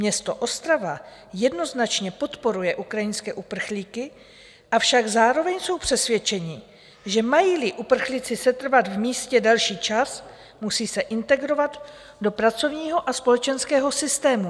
Město Ostrava jednoznačně podporuje ukrajinské uprchlíky, avšak zároveň jsou přesvědčeni, že mají-li uprchlíci setrvat v místě delší čas, musí se integrovat do pracovního a společenského systému.